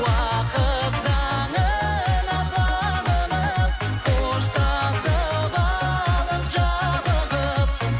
уақыт заңына бағынып қоштасып алып жалығып